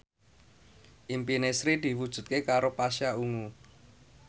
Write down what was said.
impine Sri diwujudke karo Pasha Ungu